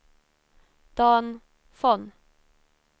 Dan Von